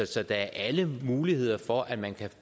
så der er alle muligheder for at man kan